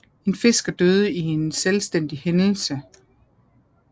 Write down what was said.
En fisker døde i en selvstændig hændelse